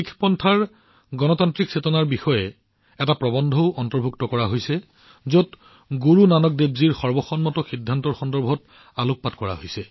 শিখপন্থৰ গণতান্ত্ৰিক চেতনাৰ ওপৰত কিতাপখনত এটা প্ৰৱন্ধও অন্তৰ্ভুক্ত কৰা হৈছে যিয়ে গুৰু নানক দেৱজীৰ সহমতৰ দ্বাৰা লোৱা সিদ্ধান্তৰ ওপৰত আলোকপাত কৰে